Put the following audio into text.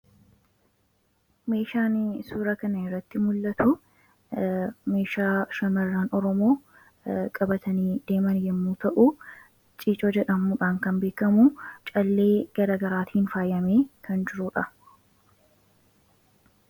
meeshaan suura kana irratti mul'atu meeshaa shamarra oromoo qabatanii deeman yommu ta'uu ciicoo jedhamuudhaan kan beekamuu callee gara garaatiin faayyame kan jiruudha